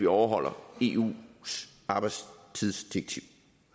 overholder eus arbejdstidsdirektiv